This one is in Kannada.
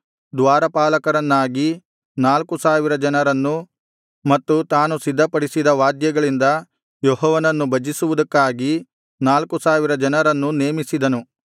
ದ್ವಾರಪಾಲಕರನ್ನಾಗಿ ನಾಲ್ಕು ಸಾವಿರ ಜನರನ್ನು ಮತ್ತು ತಾನು ಸಿದ್ಧಪಡಿಸಿದ ವಾದ್ಯಗಳಿಂದ ಯೆಹೋವನನ್ನು ಭಜಿಸುವುದಕ್ಕಾಗಿ ನಾಲ್ಕು ಸಾವಿರ ಜನರನ್ನೂ ನೇಮಿಸಿದನು